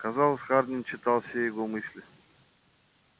казалось хардин читал все его мысли